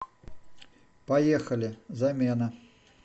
поехали замена